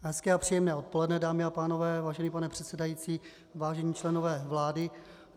Hezké a příjemné odpoledne, dámy a pánové, vážený pane předsedající, vážení členové vlády.